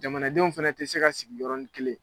Jamanadenw fɛnɛ te se ka sigi yɔrɔnin kelen.